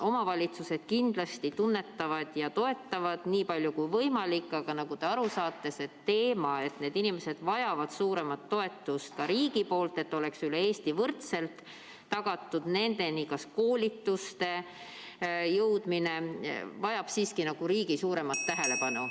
Omavalitsused kindlasti tunnetavad seda ja toetavad nii palju kui võimalik, aga nagu te aru saate, see teema, et need inimesed vajavad suuremat toetust ka riigilt, ja et üle Eesti peaks olema võrdselt tagatud nendeni jõudmine, kas või koolituste näol, vajab siiski riigi suuremat tähelepanu.